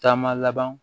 Taama laban